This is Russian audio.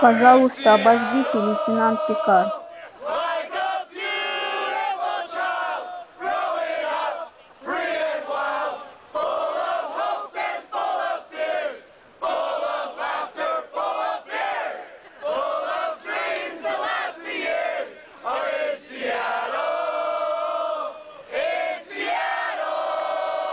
пожалуйста обождите лейтенант пикар